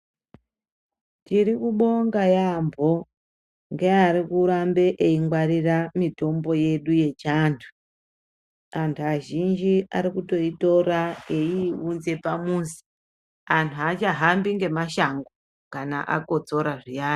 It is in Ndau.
Tirikubonga yaambo ngeari kurambe eingwarira mitombo yedu yechiantu. Antu azhinji arikutoitora eiiunza pamuzi. Anhu achahambi ngemashango kana akotsora zviyani.